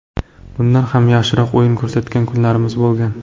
Bundan ham yaxshiroq o‘yin ko‘rsatgan kunlarimiz bo‘lgan.